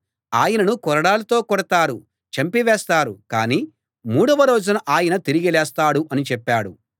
ఆయనను కొరడాలతో కొడతారు చంపివేస్తారు కానీ మూడవ రోజున ఆయన తిరిగి లేస్తాడు అని చెప్పాడు